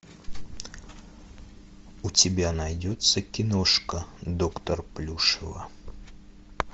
у тебя найдется киношка доктор плюшева